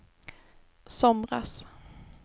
somras